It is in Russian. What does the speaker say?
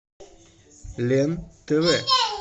лен тв